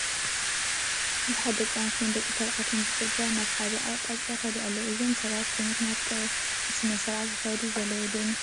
ብዙሓት ደቂ ኣንስትዮን ደቂ ተባዕትዮን ብፅርግያ ናብ ሓደ ኣቕጣጫ ይኸዱ ኣለው፡፡ እዞም ሰባት ብምኽንያት ቀብሪ ስነ ስርዓት ዝኸዱ ዘለው ዶ ይመስለኩም?